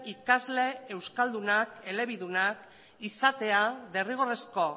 ikasle euskaldunaelebidunak izatea derrigorrezko